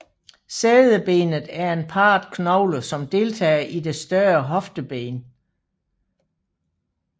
Sædebenet er en parret knogle som deltager i det større hofteben